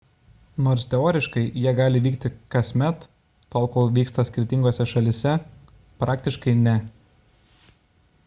nors teoriškai jie gali vykti kasmet tol kol vyksta skirtingose šalyse praktiškai – ne